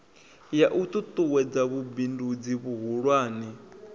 ya u ṱuṱuwedza vhubindudzi vhuhulwane